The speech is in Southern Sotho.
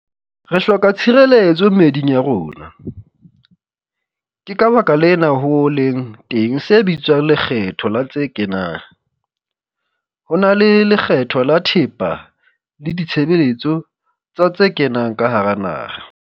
Re hloka tshireletso meeding ya rona. Ke ka baka lena ho leng teng se bitswang lekgetho la tse kenang. Ho na ke lekgetho la thepa le ditshebeletso tsa tse kenang ka hara naha.